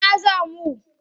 Ina za mu?